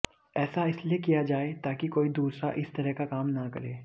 ऐसा इसलिए किया जाए ताकि कोई दूसरा इस तरह का काम न करे